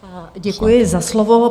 Děkuji za slovo.